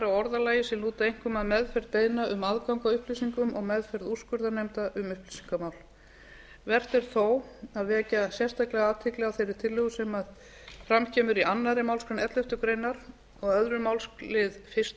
orðalagi sem lúta einkum að meðferð beiðna um aðgang að upplýsingum og meðferð úrskurðarnefnda um upplýsingamál vert er þó að vekja sérstaklega athygli á þeirri tillögu sem fram kemur í annarri málsgrein elleftu greinar og annars máls fyrstu